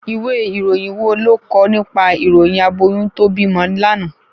Ìwé ìròyìn wo ló ko nípa ìròyìn aboyún to bímọ lánàá?